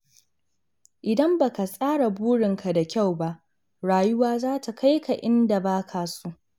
Idan ba ka tsara burinka da kyau ba, rayuwa za ta kai ka inda ba ka so.